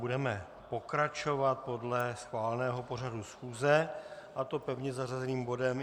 Budeme pokračovat podle schváleného pořadu schůze, a to pevně zařazeným bodem